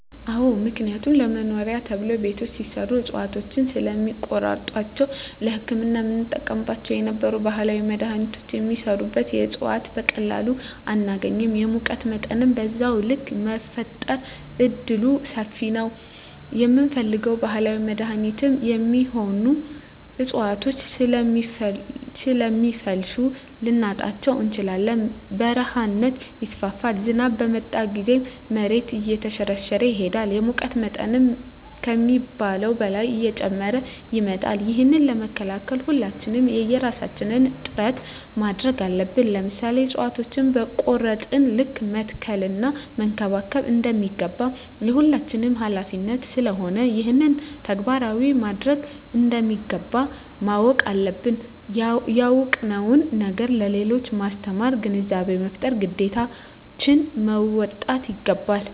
አዎ ምክንያቱም ለመኖሪያ ተብሎ ቤቶች ሲሰሩ እፅዋቶችን ስለሚቆርጧቸዉ ለህክምና የምንጠቀምባቸው የነበሩ ባህላዊ መድሀኒቶች የሚሰሩበት እፅዋት በቀላሉ አናገኝም የሙቀት መጠንም በዛዉ ልክ የመፈጠር እድሉምሰፊ ነዉ የምንፈልገዉን ባህላዊ ለመድኃኒትነት የሚሆኑ እፅዋቶችን ስለሚፈልሱ ልናጣቸዉ እንችላለን በረሀነት ይስፋፋል ዝናብ በመጣ ጊዜም መሬቱ እየተሸረሸረ ይሄዳል የሙቀት መጠን ከሚባለዉ በላይ እየጨመረ ይመጣል ይህንን ለመከላከል ሁላችንም የየራሳችን ጥረት ማድረግ አለብን ለምሳሌ እፅዋቶችን በቆረጥን ልክ መትከል እና መንከባከብ እንደሚገባ የሁላችንም ሀላፊነት ስለሆነ ይህንን ተግባራዊ ማድረግ እንደሚገባ ማወቅ አለብን ያወቅነዉን ነገር ለሌሎች በማስተማር ግንዛቤ በመፍጠር ግዴታችን መወጣት ይገባል